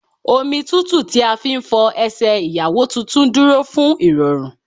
Omi tútù tí a fi ń fọ Ẹsẹ̀ Ìyàwó tuntun dúró fún ìrọ̀rùn.